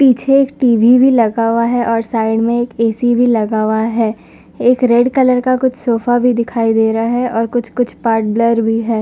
पीछे टी_वी भी लगा हुआ है और साइड में एक ऐ_सी भी लगा हुआ है। एक रेड कलर का कुछ सोफा भी दिखाई दे रहा है और कुछ-कुछ पार्ट ब्लर भी है।